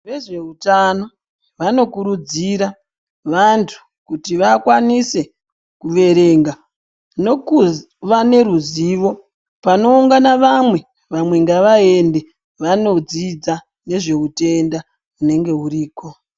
Vezveutano vanokurudzira vandu kuti vakwanise kuverenga nekuva neruzivo. Panoungana vamwe, vamwe ngavaende vanodzidza nezveutenda unenge uriko .